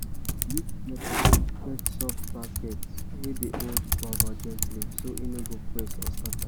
use plucker get soft basket wey dey hold guava gently so e no go press or scatter